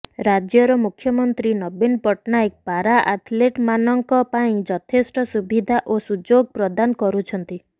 ରାଜ୍ୟର ମୁଖ୍ୟମନ୍ତ୍ରୀ ନବୀନ ପଟ୍ଟନାୟକ ପାରା ଆଥଲେଟ୍ମାନଙ୍କ ପାଇଁ ଯଥେଷ୍ଟ ସୁବିଧା ଓ ସୁଯୋଗ ପ୍ରଦାନ କରୁଛନ୍ତି